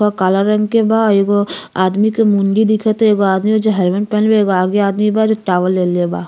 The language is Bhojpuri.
और काला रंग के बा एगो आदमी के मुंडी दिखते बा आदमी जो हेलमेट पहिनले बा एगो आगे आदमी बा जो टॉवल लेले बा।